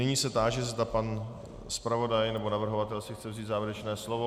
Nyní se táži, zda pan zpravodaj nebo navrhovatel si chce vzít závěrečné slovo.